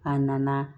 A nana